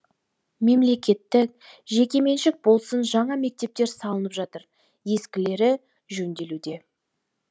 мемлекеттік жекеменшік болсын жаңа мектептер салынып жатыр ескілері жөнделуде